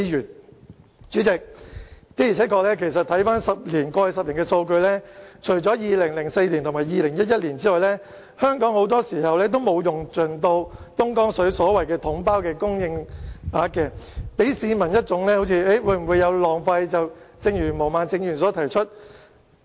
代理主席，的而且確，看看過去10年的數據，除了2004年和2011年外，香港很多時候都沒有用盡東江水的統包供應額，給市民一種浪費的感覺，正如毛孟靜議員亦有提出。